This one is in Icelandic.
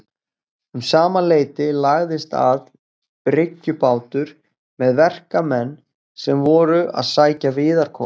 Um sama leyti lagðist að bryggju bátur með verkamenn sem voru að sækja viðarkol.